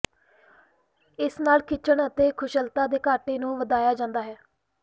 ਇਸ ਨਾਲ ਖਿੱਚਣ ਅਤੇ ਕੁਸ਼ਲਤਾ ਦੇ ਘਾਟੇ ਨੂੰ ਵਧਾਇਆ ਜਾਂਦਾ ਹੈ